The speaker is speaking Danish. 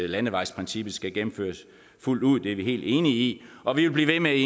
landevejsprincippet skal gennemføres fuldt ud det er vi helt enige i og vi vil blive ved med i